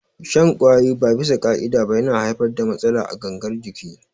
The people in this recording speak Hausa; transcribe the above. Shan ƙwayoyi ba bisa ƙa'ida ba yana haifar da matsala a gangar jiki